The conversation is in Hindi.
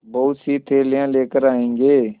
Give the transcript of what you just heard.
बहुतसी थैलियाँ लेकर आएँगे